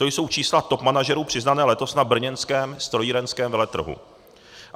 To jsou čísla top manažerů, přiznaná letos na brněnském strojírenském veletrhu.